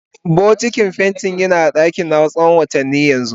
Bokitin fenti ya a dakina tsawon watanni yanzu.